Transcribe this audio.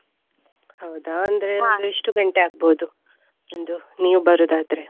ಹೌದಾ ಅಂದ್ರೆ ಎಷ್ಟು ಗಂಟೆ ಅಗ್ಬೋದು? ಒಂದು ನೀವ್ ಬರುದಾದ್ರೆ?